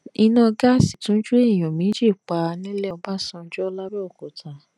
iná gáàsì tún jó èèyàn méjì pa nílé ọbásanjọ́ lábẹ́òkúta